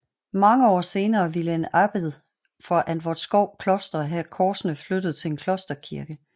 Mange år senere ville en abbed fra Antvorskov Kloster have korsene flyttet til en klosterkirke